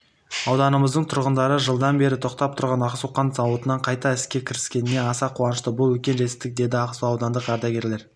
ауданымыздың тұрғындары жылдан бері тоқтап тұрған ақсу қант зауытының қайта іске кіріскеніне аса қуанышты бұл үлкен жетістік деді ақсу аудандық ардагерлер